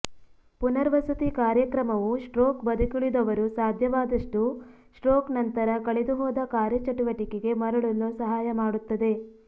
ಪುನರ್ವಸತಿ ಕಾರ್ಯಕ್ರಮವು ಸ್ಟ್ರೋಕ್ ಬದುಕುಳಿದವರು ಸಾಧ್ಯವಾದಷ್ಟು ಸ್ಟ್ರೋಕ್ನ ನಂತರ ಕಳೆದುಹೋದ ಕಾರ್ಯಚಟುವಟಿಕೆಗೆ ಮರಳಲು ಸಹಾಯ ಮಾಡುತ್ತದೆ